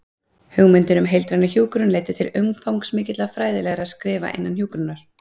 Hugmyndin um heildræna hjúkrun leiddi til umfangsmikilla fræðilegra skrifa innan hjúkrunar.